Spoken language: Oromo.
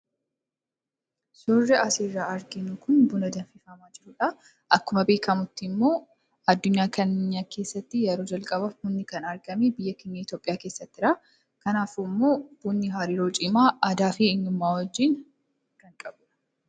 suurri asiirraa arginu kun buna danfifamaa jirudha. akkuma beekamutti immoo addunyaa kana keessatti yeroo jalqabaf bunni kan argame biyya kenya yitoophiyaa keessattidha kanaafuu immoo bunnii hariiroo cimaa aadaa fi eenyummaa wajjiin kan walqabatudha.